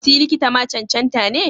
Si likita ma cancanta ne?